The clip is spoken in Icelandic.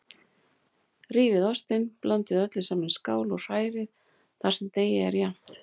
Rífið ostinn, blandið öllu saman í skál og hrærið þar til deigið er jafnt.